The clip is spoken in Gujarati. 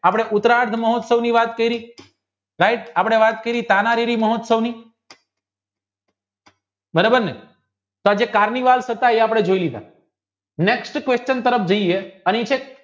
આપણે ઉકરત મહોત્સવની વાત કરીયે આપણે વાત કરી તાનારીવિ મહોત્સવની બરાબરને next question તરફ આપણે જઇયે અહીં છે